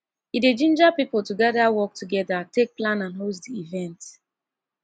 e dey ginger pipo to gather work togeda take plan and host di event